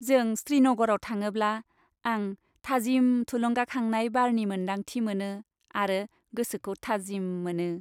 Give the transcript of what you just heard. जों श्रीनगराव थाङोब्ला आं थाजिम थुलुंगाखांनाय बारनि मोन्दांथि मोनो आरो गोसोखौ थाजिम मोनो।